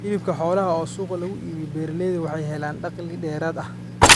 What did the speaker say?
Hilibka xoolaha oo suuqa lagu iibiyo, beeralaydu waxay helaan dakhli dheeraad ah.